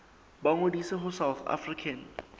ba ngodise ho south african